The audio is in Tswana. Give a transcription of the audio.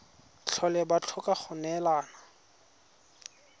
tlhole ba tlhoka go neelana